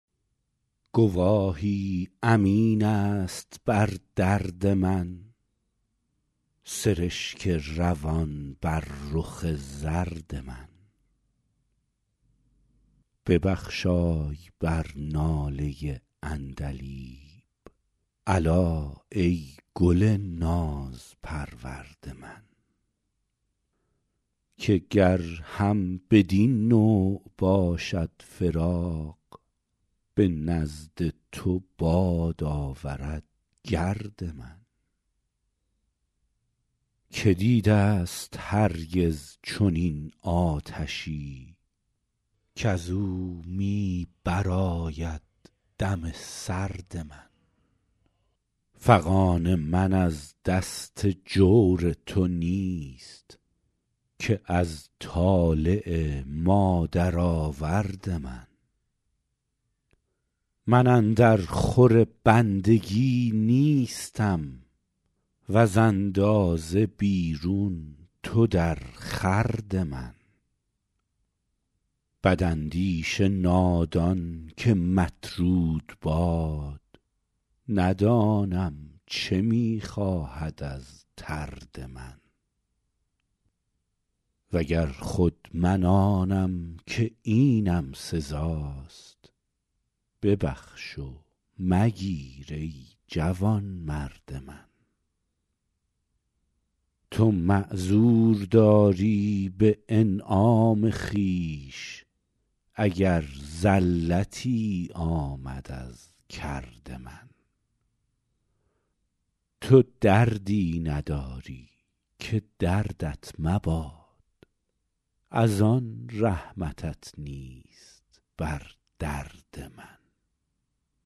گواهی امین است بر درد من سرشک روان بر رخ زرد من ببخشای بر ناله عندلیب الا ای گل نازپرورد من که گر هم بدین نوع باشد فراق به نزد تو باد آورد گرد من که دیده ست هرگز چنین آتشی کز او می برآید دم سرد من فغان من از دست جور تو نیست که از طالع مادرآورد من من اندر خور بندگی نیستم وز اندازه بیرون تو در خورد من بداندیش نادان که مطرود باد ندانم چه می خواهد از طرد من و گر خود من آنم که اینم سزاست ببخش و مگیر ای جوانمرد من تو معذور داری به انعام خویش اگر زلتی آمد از کرد من تو دردی نداری که دردت مباد از آن رحمتت نیست بر درد من